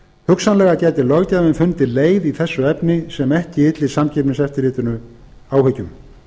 hugsanlega gæti löggjafinn fundið leið í þessu efni sem ekki ylli samkeppniseftirlitinu áhyggjum